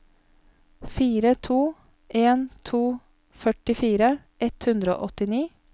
fire to en to førtifire ett hundre og åttini